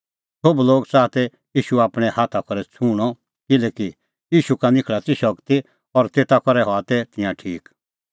सोभ लोग च़ाहा तै ईशू आपणैं हाथा करै छुंहणअ किल्हैकि ईशू का निखल़ा ती शगती और तेता करै हआ तै तिंयां ठीक